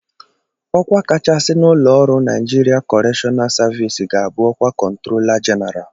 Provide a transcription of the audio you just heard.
Ọkwa kachasị n'ụlọ ọrụ Naijiria Kọreshọnal savis ga-abụ ọkwa kọntrola jeneralụ.